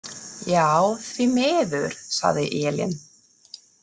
Já, því miður, sagði Elín.